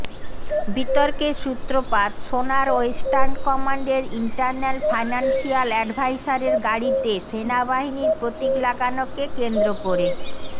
বিতর্কের সূত্রপাত সোনার ওয়েস্টার্ন কমান্ডের ইন্টারন্যাল ফাইনান্সিয়াল অ্যাডভাইসারের গাড়িতে সেনাবাহিনীর প্রতীক লাগানোকে কেন্দ্র করে